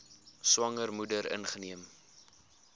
swanger moeder ingeneem